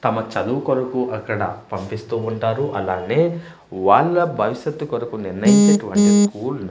తమ చదువు కొరకు అక్కడ పంపిస్తూ ఉంటారు అలానే వాళ్ళ భవిష్యత్తు కొరకు నిర్ణయించినటువంటి కూళ్ళు.